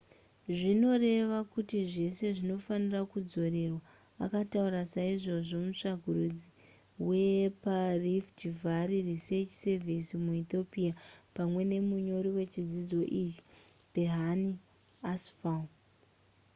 zvinoreva kuti zvese zvinofanira kudzorerwa akataura saizvozvo mutsvakurudzi weparift valley research service muethiopia pamwe nemunyori wechidzidzo ichi berhane asfaw